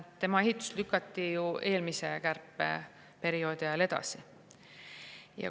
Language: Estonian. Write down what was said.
Selle ehitus lükati ju eelmise kärpeperioodi ajal edasi.